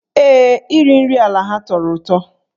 Ee, iri nri ala ha tọrọ ụtọ.